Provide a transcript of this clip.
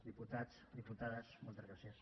diputats diputades moltes gràcies